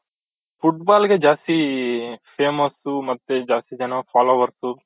football ಗೆ ಜಾಸ್ತಿ famous ಮತ್ತೆ ಜಾಸ್ತಿ ಜನ followers